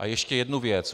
A ještě jedna věc.